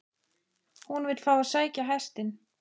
HÚN vill fá að sækja hestinn.